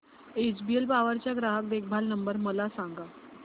HBL power चा ग्राहक देखभाल नंबर मला सांगा